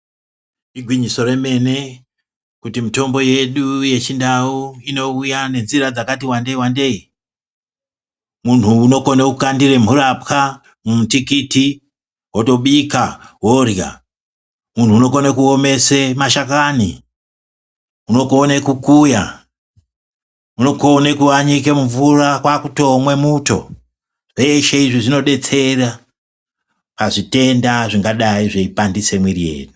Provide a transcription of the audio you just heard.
Igwinyiso remene kuti mitombo yedu yechindau inouya nenzira dzakati wandei wandei muntu unokone kukandire mhurapwa mumutikiti wotobika worya, muntu unokone kuomesa mashakani ,unokone kukuya, unokone kuanyika mumvura kwakutomwa muto ,, zveshe izvi zvinodetsera pazvitenda zvingadai zveinesa mumwiiri mwedu.